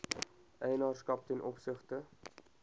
eienaarskap ten opsigte